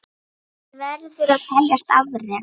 Það verður að teljast afrek.